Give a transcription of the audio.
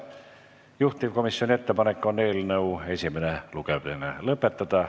Juhtivkomisjoni ettepanek on eelnõu esimene lugemine lõpetada.